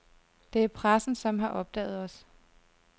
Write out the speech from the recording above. Det er pressen, som har opdaget os.